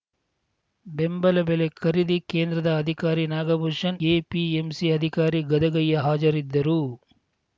ಬೆಂಬಲ ಬೆಲೆ ಖರೀದಿ ಕೇಂದ್ರದ ಅಧಿಕಾರಿ ನಾಗಭೂಷಣ್‌ ಎಪಿಎಂಸಿ ಅಧಿಕಾರಿ ಗದಗಯ್ಯ ಹಾಜರಿದ್ದರು